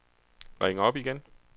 ring op igen